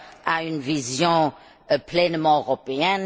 à une vision pleinement européenne.